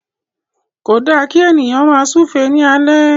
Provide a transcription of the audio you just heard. Ko da ki ènìyàn máa súúfe ni alẹ.